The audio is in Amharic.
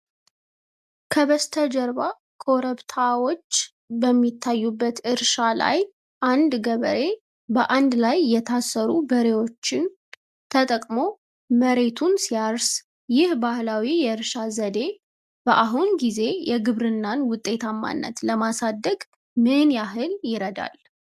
ከበስተጀርባ ኮረብታዎች በሚታዩበት እርሻ ላይ አንድ ገበሬ በአንድ ላይ የታሰሩ በሬዎች ተጠቅሞ መሬቱን ሲያርስ፣ ይህ ባህላዊ የእርሻ ዘዴ በአሁኑ ጊዜ የግብርናን ውጤታማነት ለማሳደግ ምን ያህል ይረዳል?